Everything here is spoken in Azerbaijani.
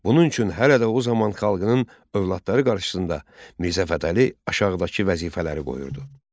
Bunun üçün hələ də o zaman xalqının övladları qarşısında Mirzə Fətəli aşağıdakı vəzifələri qoyurdu: